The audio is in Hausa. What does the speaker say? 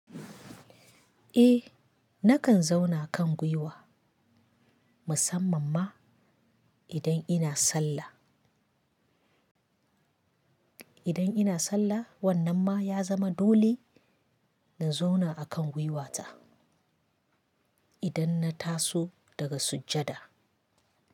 Eh nakan zauna kan gwiwa musamman ma idan ina sallah. Idan ina sallah wannan ma ya zama dole in zauna akan gwiwata idan na taso daga sujjada.